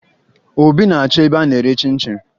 Obi na-achọ ebe a na-ere chịn chịn